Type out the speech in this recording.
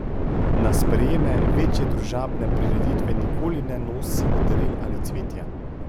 Na sprejeme, večje družabne prireditve nikoli ne nosimo daril ali cvetja.